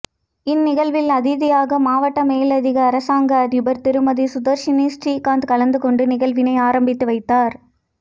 இந்நிகழ்வில் அதிதியாக மாவட்ட மேலதிக அரசாங்க அதிபர் திருமதி சுதர்ஷனி ஸ்ரீகாந்த் கலந்துகொண்டு நிகழ்வினை ஆரம்பித்து வைத்தார்